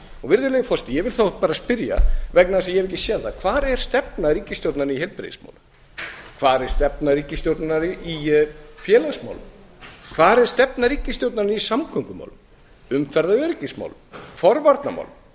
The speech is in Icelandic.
virðulegi forseti ég vil þá bara spyrja vegna þess að ég hef ekki séð það hvar er stefna ríkisstjórnarinnar í heilbrigðismálum hvar er stefna ríkisstjórnarinnar í félagsmálum hvar er stefna ríkisstjórnarinnar í samgöngumálum umferðaröryggismálum forvarnamálum